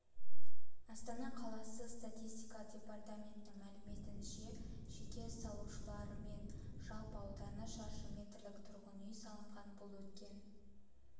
астана қаласы статистика департаментінің мәліметінше жеке салушылармен жалпы ауданы шаршы метрлік тұрғын үй салынған бұл өткен